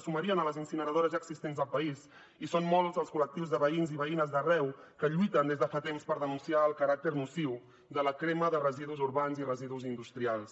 sumarien a les incineradores ja existents al país i són molts els col·lectius de veïns i veïnes d’arreu que lluiten des de fa temps per denunciar el caràcter nociu de la crema de residus urbans i residus industrials